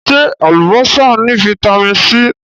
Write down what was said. Ṣé Alubọ́sá ni Vitamin C?